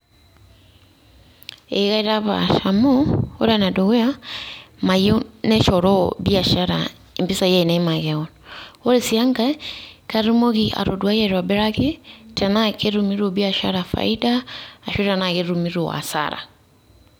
Ee kaitapash amu ore enedukuya, mayieu neshoroo biashara impisai ainei makeon. Ore si enkae ,katumoki atoduai aitobiraki tenaa ketumito biashara faida arashu tenaa ketumito hasara.